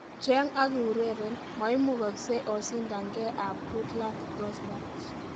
Jeng ak iureren, maimukasei oshindange ak goodluck gozbert